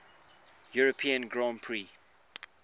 european grand prix